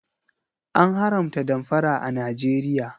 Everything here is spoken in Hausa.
An haramta damfara a Najeriya